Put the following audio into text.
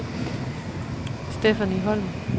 Stephanie Holm